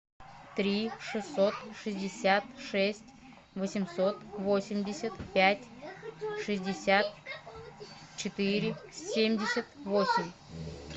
три шестьсот шестьдесят шесть восемьсот восемьдесят пять шестьдесят четыре семьдесят восемь